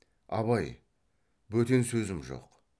абай бөтен сөзім жоқ